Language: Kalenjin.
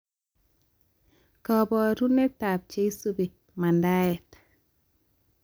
Kabarunetab cheisubi mandaet